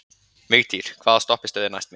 Vigtýr, hvaða stoppistöð er næst mér?